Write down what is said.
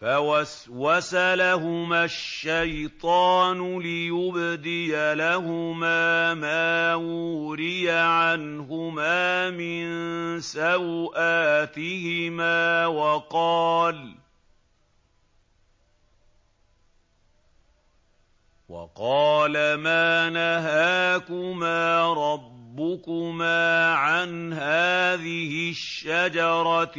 فَوَسْوَسَ لَهُمَا الشَّيْطَانُ لِيُبْدِيَ لَهُمَا مَا وُورِيَ عَنْهُمَا مِن سَوْآتِهِمَا وَقَالَ مَا نَهَاكُمَا رَبُّكُمَا عَنْ هَٰذِهِ الشَّجَرَةِ